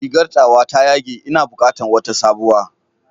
Rigar tawa ta yage, ina bukatan wata sabuwa.